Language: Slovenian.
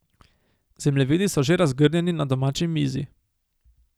Zemljevidi so že razgrnjeni na domači mizi ...